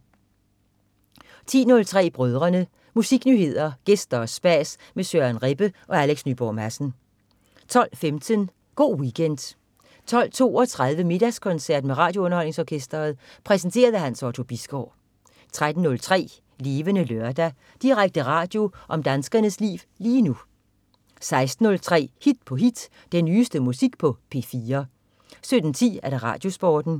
10.03 Brødrene. Musiknyheder, gæster og spas med Søren Rebbe og Alex Nyborg Madsen 12.15 Go' Weekend 12.32 Middagskoncert med RadioUnderholdningsOrkestret. Præsenteret af Hans Otto Bisgaard 13.03 Levende Lørdag. Direkte radio om danskernes liv lige nu 16.03 Hit på hit. Den nyeste musik på P4 17.10 RadioSporten